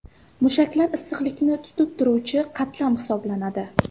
Mushaklar issiqlikni tutib turuvchi qatlam hisoblanadi.